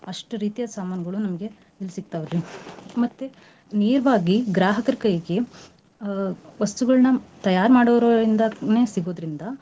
ಅಷ್ಟ ರೀತಿಯಾದ ಸಮಾನ್ಗಳು ನಮ್ಗೆ ಇಲ್ ಸಿಕ್ತಾವ್ ರಿ ಮತ್ತೆ ನೇರ್ವಾಗಿ ಗ್ರಾಹಕರ್ ಕೈಗೆ ಅ ವಸ್ತುಗಳ್ನ ತಯಾರ್ ಮಾಡೋರಿಂದಾನೇ ಸಿಗೋದ್ರಿಂದ.